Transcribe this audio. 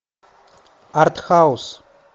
арт хаус